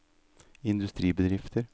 industribedrifter